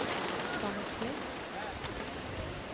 Sandsli